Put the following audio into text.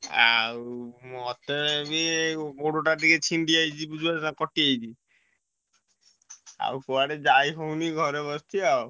ଆଉ ମତେ ବି ଗୋଡ ଟା ଟିକେ ଚିଣ୍ଡିଯାଇଛି ବୁଝିପାରୁଛ ନାଁ କଟିଯାଇଛି ଆଉ କୁଆଡେ ଯାଇହଉନି ଘରେ ବସିଛି ଆଉ।